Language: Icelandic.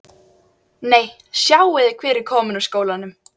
Nei, sjáiði hver er kominn úr skólanum